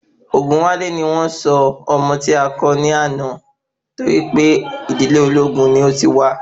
Ogunwale ni wọ́n sọ ọmọ ti a kó ni àná torí pé ìdílé olóògún ni o tí wa